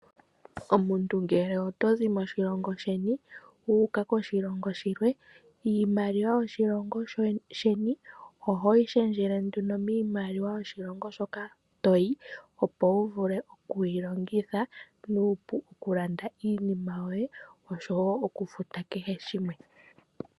Omuntu ngele otozi moshilongo shimwe wuuka koshilongo oshikwawo, iimaliwa yoshilongo sheni ohoyi shendjele nduno miimaliwa yoshilongo hoka toyi, opo wuvule okuyi longitha nuupu okulanda iinima yoye, oshowo okufuta kehe shimwe.